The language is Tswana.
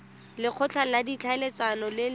lekgotla la ditlhaeletsano le le